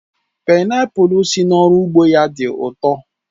Paịnapul si n'oru ugbo ya di u to